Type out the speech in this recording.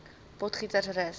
potgietersrus